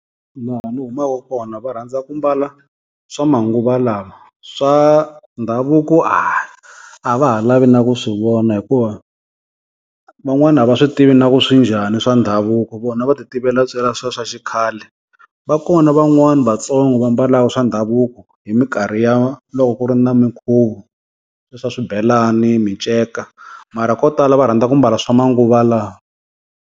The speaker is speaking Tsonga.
Laha ni humaku kona va rhandza ku mbala swa manguva lawa swa ndhavuko a a va ha lavi na ku swi vona hikuva van'wana a va swi tivi na ku swi njhani swa ndhavuko vona va ti tivela ntsena xikhale. Va kona van'wani Vatsongo va mbalaka swa ndhavuko hi minkarhi ya loko ku ri na minkhuvo, swa swibelani, miceka, mara ko tala va rhandza ku mbala swa manguva lawa.